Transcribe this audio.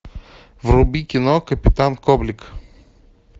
вруби кино капитан коблик